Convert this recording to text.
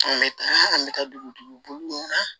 An bɛ taa an bɛ taa dugutigiw bolo na